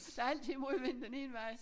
Der er altid modvind den ene vej